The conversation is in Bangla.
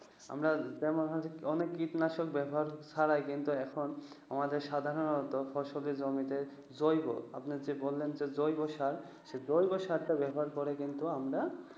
আমরা যেমন অনেক কীটনাশক ব্যবহার ছাড়াই কিন্তু এখন, আমাদের সাধারণত ফসলের জমিতে জৈব আপনার যে বললেন যে, জৈব সার, জৈব সার ব্যবহার করে কিন্তু আমরা